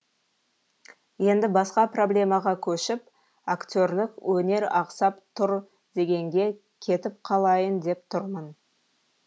енді басқа проблемаға көшіп актерлік өнер ақсап тұр дегенге кетіп қалайын деп тұрмын